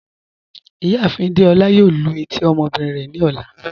Ìyáàfin Dèolá yóò lú etí ọmọbìnrin rẹ ni ọlá.